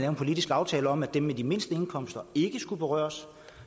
en politisk aftale om at dem med de mindste indkomster ikke skulle berøres